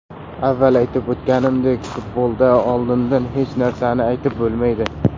Avval aytib o‘tganimdek, futbolda oldindan hech narsani aytib bo‘lmaydi.